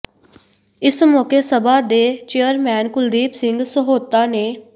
ਇਸ ਮੌਕੇ ਸਭਾ ਦੇ ਚੇਅਰਮੈਨ ਕੁਲਦੀਪ ਸਿੰਘ ਸਹੋਤਾ ਨੇ